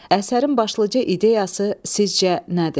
Əsərin başlıca ideyası sizcə nədir?